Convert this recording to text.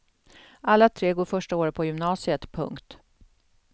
Alla tre går första året på gymnasiet. punkt